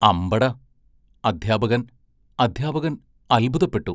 അമ്പടാ അദ്ധ്യാപകൻ അദ്ധ്യാപകൻ അത്ഭുതപ്പെട്ടു.